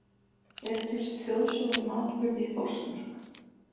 Eru til þjóðsögur um atburði í Þórsmörk?